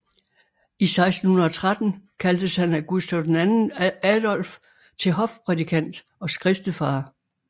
I 1613 kaldtes han af Gustav II Adolf til hofprædikant og skriftefader